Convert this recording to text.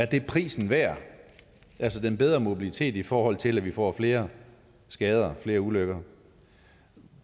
det er prisen værd altså den bedre mobilitet i forhold til at vi får flere skader og flere ulykker